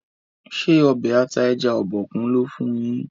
ṣe Ọbẹ̀ ata ẹja Obokun lò fún yín?